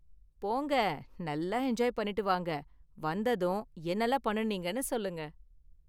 போங்க நல்லா என்ஜாய் பண்ணிட்டு வாங்க, வந்ததும் என்னலாம் பண்ணுனீங்கன்னு சொல்லுங்க.